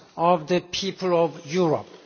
of the people of Europe.